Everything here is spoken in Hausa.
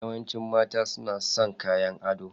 Yawancin mata suna son kayan ado.